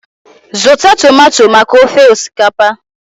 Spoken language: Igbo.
Zụta tomato maka ofe osikapa!